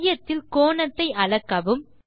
மையத்தில் கோணத்தை அளக்கவும்